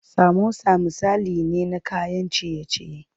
Samosa misali ne na kayan ciye ciye.